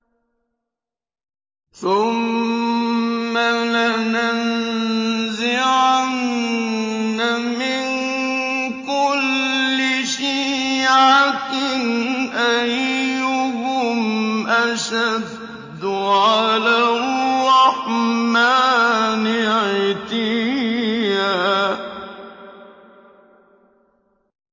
ثُمَّ لَنَنزِعَنَّ مِن كُلِّ شِيعَةٍ أَيُّهُمْ أَشَدُّ عَلَى الرَّحْمَٰنِ عِتِيًّا